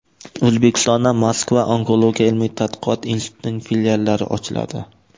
O‘zbekistonda Moskva onkologiya ilmiy-tadqiqot institutining filiallari ochiladi.